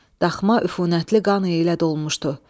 Daxma üfunətli qanı ilə dolmuşdu.